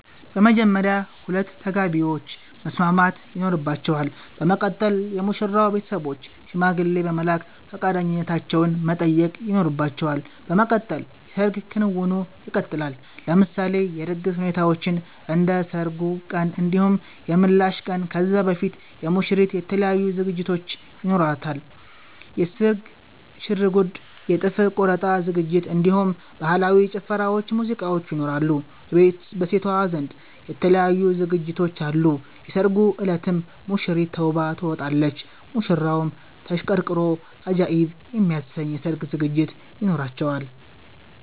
በመጀመርያ ሁለቱ ተጋቢዎች መስማማት ይኖርባቸል በመቀጠል የሙሽራዉ ቤተሰቦች ሽማግሌ በመላክ ፈቃደኛነታቸዉን መጠየቅ ይኖርባቸዋል በመቀጠል የሰርግ ክንዉኑ ይቀጥላል። ለምሳሌ የድግስ ሁኔታዎችን እንደ ሰርጉ ቀን እንዲሁም የምላሽ ቀን ከዛ በፊት የሙሽሪት የተለያዩ ዝግጅቶች ይኖሯታል የስርግ ሽርጉድ የ ጥፍር ቆረጣ ዝግጅት እንዲሁም በህላዊ ጭፈራዎች ሙዚቃዎች ይኖራሉ። በሴቷ ዘንድ የተለያዩ ዝግጅቶች አሉ የሰርጉ እለትም ሙሽሪት ተዉባ ትወጣለች። ሙሽራዉም ተሽቀርቅሮ አጃኢብ የሚያሰኝ የሰርግ ዝግጅት ይኖራቸዋል